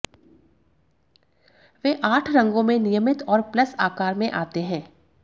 वे आठ रंगों में नियमित और प्लस आकार में आते हैं